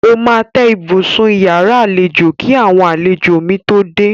Ó máa tẹ́ ibùsùn iyàrá àlejò kí àwọn àlejò mi tó dé.